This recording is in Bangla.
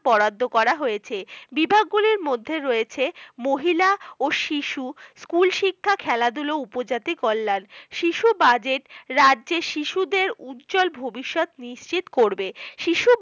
বরাদ্দ করা হয়েছে বিভাগগুলিতে রয়েছে মহিলা ও শিশু বিভাগ, স্কুল শিক্ষা খেলাধুলা উপজাতি কল্যাণ শিশু রাজ্যে শিশুদের উজ্জ্বল ভবিষ্যৎ নিশ্চিত করবে ।